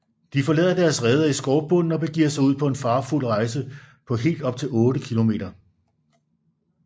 De forlader deres reder i skovbunden og begiver sig ud på en farefuld rejse på helt op til otte kilometer